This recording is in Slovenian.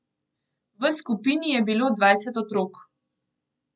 V skupini je bilo dvajset otrok.